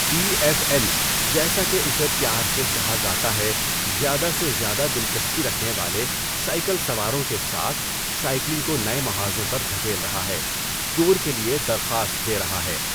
T F N جیسا کہ اسے پیار سے کہا جاتا ہے زیادہ سے زیادہ دلچسپی رکھنے والے سائیکل سواروں کے ساتھ سائیکلنگ کو نئے محاذوں پر دھکیل رہا ہے، ٹور کے لیے درخواست دے رہا ہے۔